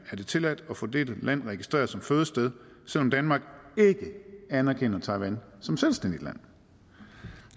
det tilladt at få dette land registreret som fødested selv om danmark ikke anerkender taiwan som selvstændigt land